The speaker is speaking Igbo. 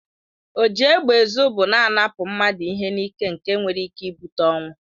Oji égbè ezụ bụ na-anapụ mmadụ ihe n'ịke nke nwere ịke ịbute ọnwụ.